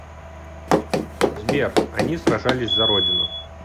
сбер они сражались за родину